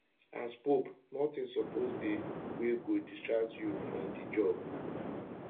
as pope notin suppose dey wey go distract you from di job